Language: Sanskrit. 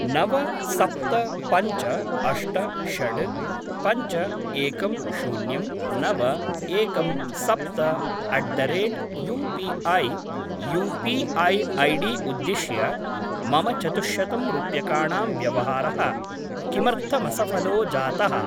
नव सप्त पञ्च अष्ट षड् पञ्च एकं शून्यं नव एकं सप्त at the rate UPI U P I ID उद्दिश्य मम चतुश्शतं रूप्यकाणां व्यवहारः किमर्थमसफलो जातः?